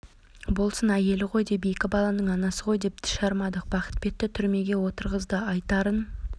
болсын әйелі ғой деп екі баланың анасы ғой деп тіс жармадық бақытбекті түрмеге отырғызды айтарын